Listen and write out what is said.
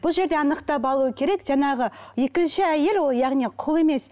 бұл жерде анықтап алу керек жаңағы екінші әйел ол яғни құл емес